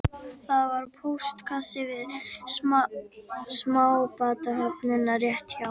Stjórnmálamaður stal klósettpappír